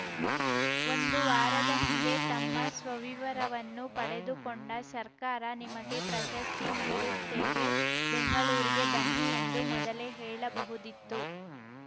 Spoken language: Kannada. ಒಂದು ವಾರದ ಹಿಂದೆ ತಮ್ಮ ಸ್ವವಿವರವನ್ನು ಪಡೆದುಕೊಂಡ ಸರ್ಕಾರ ನಿಮಗೆ ಪ್ರಶಸ್ತಿ ನೀಡುತ್ತೇವೆ ಬೆಂಗಳೂರಿಗೆ ಬನ್ನಿ ಎಂದು ಮೊದಲೇ ಹೇಳಬಹುದಿತ್ತು